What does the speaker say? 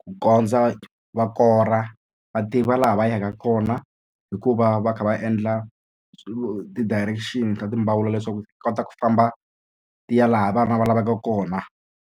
ku kondza va kora va tiva laha va yaka kona hikuva va kha va endla ti-direction ta leswaku ti kota ku famba ti ya laha vana va lavaka kona.